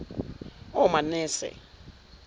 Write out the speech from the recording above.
omanese